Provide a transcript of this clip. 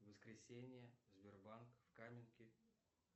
воскресенье сбербанк в каменке